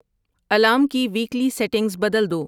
alarm کی weekly settings بدل دو